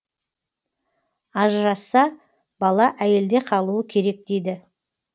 ажырасса бала әйелде қалуы керек дейді